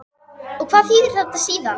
Og hvað þýðir þetta síðan?